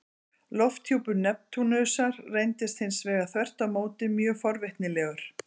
Lofthjúpur Neptúnusar reyndist hins vegar þvert á móti mjög forvitnilegur.